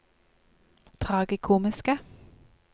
tragikomiske